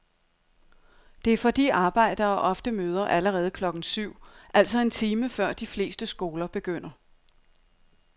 Det er fordi arbejdere ofte møder allerede klokken syv, altså en time før de fleste skoler begynder.